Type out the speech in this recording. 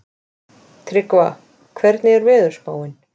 Tryggva, hvernig er veðurspáin?